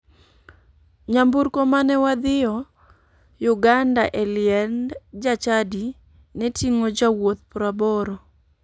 Nyamburko mane wadhio uganda e liend jachadi ne ting'o jowuoth 80.